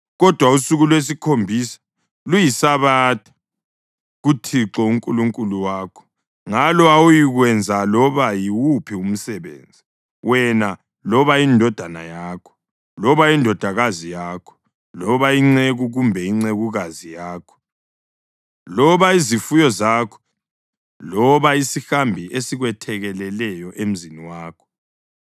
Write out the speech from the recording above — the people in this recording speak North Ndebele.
kodwa usuku lwesikhombisa luyiSabatha kuThixo uNkulunkulu wakho. Ngalo awuyikwenza loba yiwuphi umsebenzi, wena, loba indodana yakho, loba indodakazi yakho, loba inceku kumbe incekukazi yakho, loba izifuyo zakho loba isihambi esikwethekeleleyo emzini wakho.